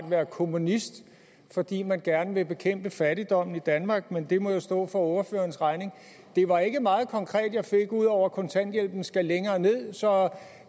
kommunist fordi man gerne vil bekæmpe fattigdommen i danmark men det må jo stå for ordførerens regning det var ikke meget konkret jeg fik ud over at kontanthjælpen skal længere ned så